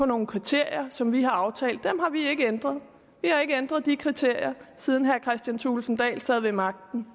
nogle kriterier som vi har aftalt og dem har vi ikke ændret vi har ikke ændret de kriterier siden herre kristian thulesen dahl sad ved magten